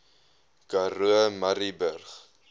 karoo murrayburg